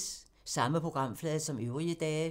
Samme programflade som øvrige dage